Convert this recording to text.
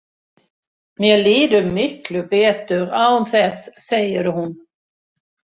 Mér líður miklu betur án þess, segir hún.